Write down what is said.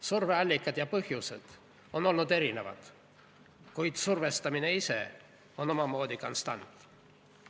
Surve allikad ja põhjused on olnud erinevad, kuid survestamine ise on omamoodi konstant.